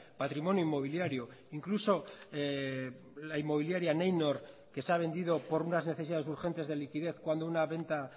patrimonio inmobiliario incluso la inmobiliaria neinor que se ha vendido por unas necesidades urgentes de liquidez cuando una venta